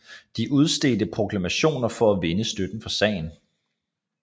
De udstedte proklamationer for at vinde støtte for sagen